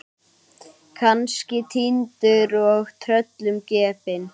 Kannski týndur og tröllum gefinn.